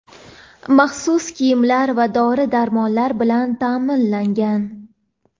maxsus kiyimlar va dori-darmonlar bilan ta’minlangan.